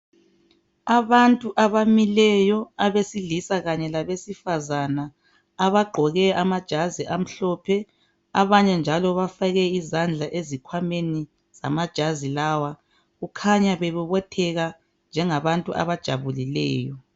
Abantu abamileyo, abesilisa kanye labesifazana abagqoke amajazi amhlophe abanye njalo bafake izandla ezikhwameni zamajazi lawa, kukhanya bebobotheka njengabantu abajabulileyo.